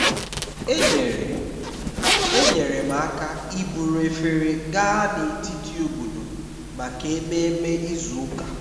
enyere enyere m aka iburu efere gaa n'etiti obodo maka ememe izu ụka